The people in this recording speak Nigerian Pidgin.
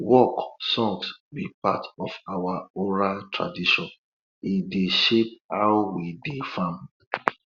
work songs be part of our oral tradition e dey shape how we dey farm